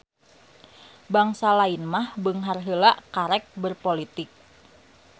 Bangsa lain mah beunghar heula karek berpolitik.